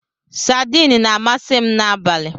Sadiin na-amasị m n'abalị